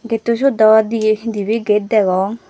getto syot do dibey dibey gate degong.